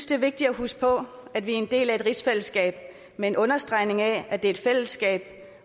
det er vigtigt at huske på at vi er en del af et rigsfællesskab med en understregning af at det er et fællesskab